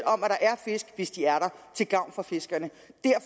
om at der er fisk hvis de er der til gavn for fiskerne